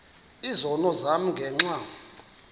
izono zam ngenxa